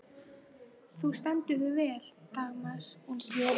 Þú stendur þig vel, Dagmar!